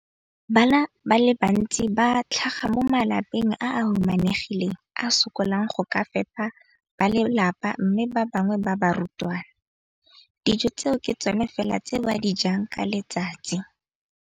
Bana ba le bantsi ba tlhaga mo malapeng a a humanegileng a a sokolang go ka fepa ba lelapa mme ba bangwe ba barutwana, dijo tseo ke tsona fela tse ba di jang ka letsatsi.